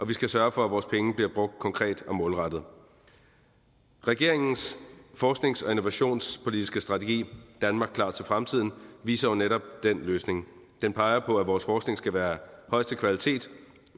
vi skal sørge for at vores penge bliver brugt konkret og målrettet regeringens forsknings og innovationspolitiske strategi danmark klar til fremtiden viser jo netop den løsning den peger på at vores forskning skal være af højeste kvalitet